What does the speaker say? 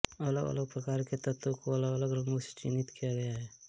अलगअलग प्रकार के तत्वों को अलगअलग रंगों से चिन्हित किया गया है